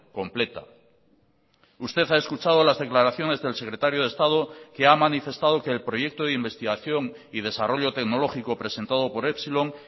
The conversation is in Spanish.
completa usted ha escuchado las declaraciones del secretario de estado que ha manifestado que el proyecto de investigación y desarrollo tecnológico presentado por epsilon